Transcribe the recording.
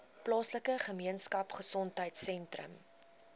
plaaslike gemeenskapgesondheid sentrum